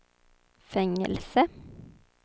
fängelse